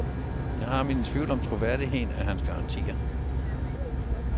Jeg har mine tvivl om troværdigheden af hans garantier.